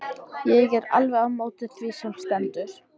Ég er alveg á móti því sem stendur.